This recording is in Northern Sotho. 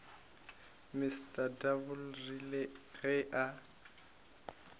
mr double rile ge a